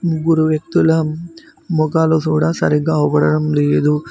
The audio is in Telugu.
ముగ్గురు వ్యక్తుల మొఖాలు సూడా సరిగ్గా ఔపడటం లేదు.